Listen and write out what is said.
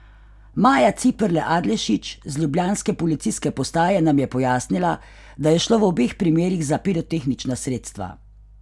Maja Ciperle Adlešič z ljubljanske policijske postaje nam je pojasnila, da je šlo v obeh primerih za pirotehnična sredstva.